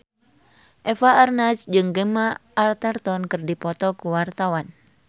Eva Arnaz jeung Gemma Arterton keur dipoto ku wartawan